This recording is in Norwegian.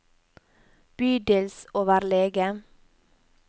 bydelsoverlege